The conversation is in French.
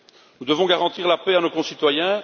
Nous devons garantir la paix à nos concitoyens.